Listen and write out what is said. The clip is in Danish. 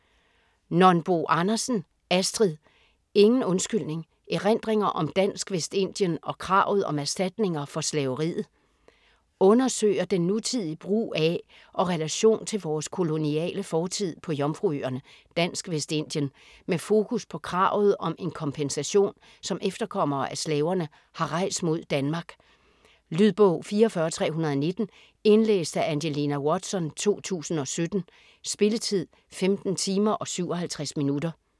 Nonbo Andersen, Astrid: Ingen undskyldning: erindringer om Dansk Vestindien og kravet om erstatninger for slaveriet Undersøger den nutidige brug af og relation til vores koloniale fortid på Jomfruøerne (Dansk Vestindien) med fokus på kravet om en kompensation, som efterkommere af slaverne har rejst mod Danmark. Lydbog 44319 Indlæst af Angelina Watson, 2017. Spilletid: 15 timer, 57 minutter.